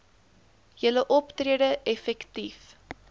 julle optrede effektief